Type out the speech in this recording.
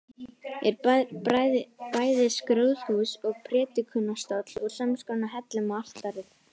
Er bæði skrúðhús og prédikunarstóll úr samskonar hellum og altarið.